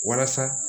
Walasa